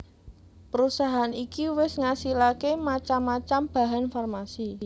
Perusahaan iki wis ngasilaké macam macam bahan farmasi